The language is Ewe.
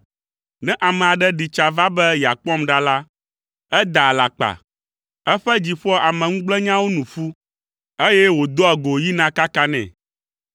Ne ame aɖe ɖi tsa va be yeakpɔm ɖa la, edaa alakpa, eƒe dzi ƒoa ameŋugblẽnyawo nu ƒu, eye wòdoa go yina kakanɛ.